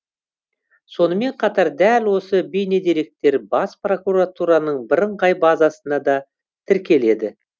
сонымен қатар дәл осы бейнедеректер бас прокуратураның бірыңғай базасына да тіркеледі